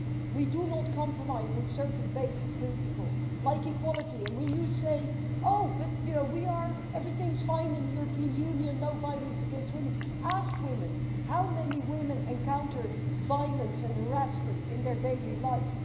We do not compromise on certain basic principles, like equality, and when you say everything's fine in the European Union, no violence against women ask women how many women encounter violence and harassment in their daily life.